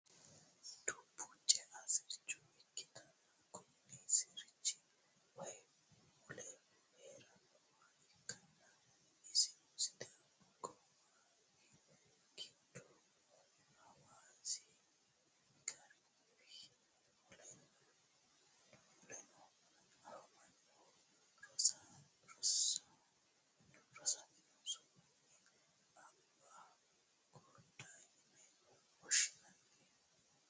dubbu cea sircho ikkitinoti kuni sirchi wayi mule heerannoha ikkanna, isono sidaami qoqowi giddo hawaasi garbi muleno anfanniho. rosamino su'minni abaa kodda yine woshshinanniho.